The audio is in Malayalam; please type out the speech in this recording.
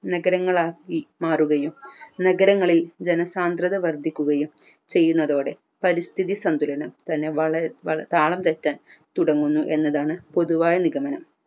നഗരങ്ങളാക്കി മാറുകയും നഗരങ്ങളിൽ ജനസാന്ദ്രത വർദ്ധിക്കുകയും ചെയ്യുന്നതോടെ പരിസ്ഥിതി സംഭരണം തന്നെ വള വ താളം തെറ്റാൻ തുടങ്ങുന്നു എന്നതാണ് പൊതുവായ നിഗമനം